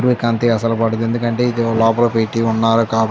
సూర్యకాంతి అసలు పడదు ఎందుకంటే లోపలికి పెట్టి ఉన్నారు కాబట్టి